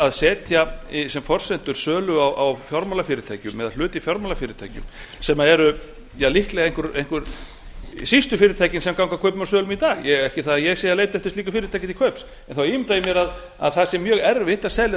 að setja sem forsendur sölu á fjármálafyrirtækjum eða hluti í fjármálafyrirtækjum sem eru líklega einhver síst fyrirtækin sem ganga kaupum og sölum í dag ekki það að ég sé að leita eftir slíku fyrirtæki til kaups þá ímynda ég mér að það sé mjög erfitt að selja